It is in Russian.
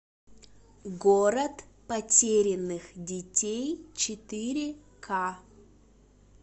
город потерянных детей четыре к